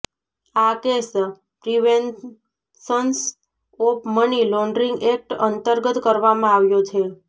આ case preventions of money laundering act અંતર્ગત કરવામાં આવ્યો છે